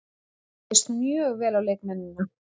Mér leist mjög vel á leikmennina.